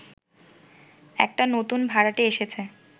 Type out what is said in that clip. একটা নতুন ভাড়াটে এসেছে